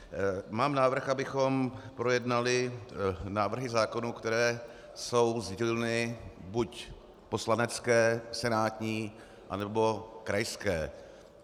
Mám návrh, abychom projednali návrhy zákonů, které jsou z dílny buď poslanecké, senátní, anebo krajské.